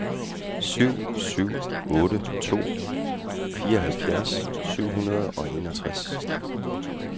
syv syv otte to fireoghalvfjerds syv hundrede og enogtres